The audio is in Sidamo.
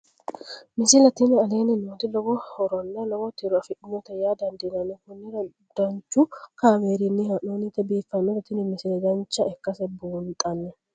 misile tini aleenni nooti lowo horonna lowo tiro afidhinote yaa dandiinanni konnira danchu kaameerinni haa'noonnite biiffannote tini misile dancha ikkase buunxanni